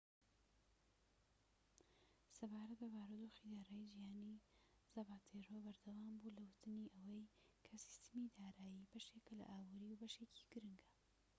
سەبارەت بە بارودۆخی دارایی جیهانی، زاپاتێرۆ بەردەوام بوو لە وتنی ئەوەی کە سیستەمی دارایی بەشێکە لە ئابووری، بەشێکی گرنگە‎